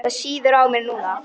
Það sýður á mér núna.